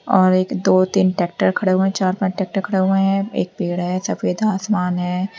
और एक दो तीन टैक्टर खड़े हुए हैं चार पांच टैक्टर खड़े हुए हैं। एक पेड़ है सफेद आसमान है।